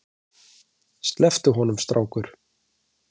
Slepptu honum strákur!